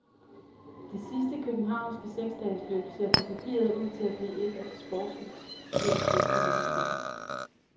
Det sidste københavnske seksdagesløb ser på papiret ud til at blive et af de sportsligt set bedste nogensinde.